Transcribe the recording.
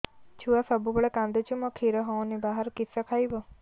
ଛୁଆ ସବୁବେଳେ କାନ୍ଦୁଚି ମା ଖିର ହଉନି ବାହାରୁ କିଷ ଖାଇବ